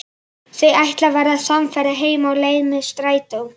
Þau ætla að verða samferða heim á leið með strætó.